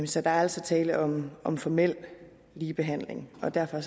så der er altså tale om om formel ligebehandling og derfor